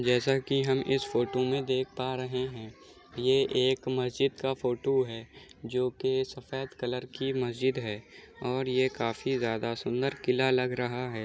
जैसा की हम इस फोटो में देख पा रहे है| ये एक मस्जिद का फोटो है जो की सफ़ेद कलर की मस्जिद है और ये काफी ज्यादा सुंदर किला लग रहा है।